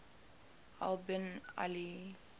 al bin ali